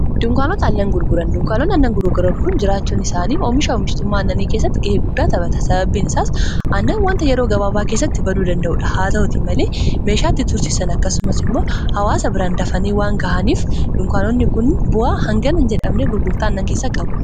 Dunkaanota aannan gurguran dunkaanonni aannan gurgran kun jiraachuun isaanii oomisha oomishtummaa annanii kessatti ga'ee guddaa tapata sababbiin isaas annan wanta yeroo gabaabaa keessatti baduu danda'uudha haa ta'utii malee meeshaatti tursisan akkasumas immoo hawaasa biraan dafane waan ga'aniif dunkaanonni kun bu'a hangann jedhamne gurgurta annan keessa qabu.